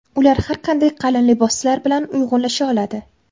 Ular har qanday qalin liboslar bilan uyg‘unlasha oladi.